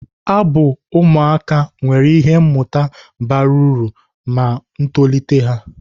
Abụ ụmụaka nwere ihe mmụta bara uru na ntolite ụmụaka.